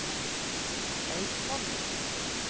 Eidsvoll